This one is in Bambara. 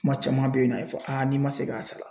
Kuma caman be yen nɔ a be fɔ aa n'i ma se k'a sara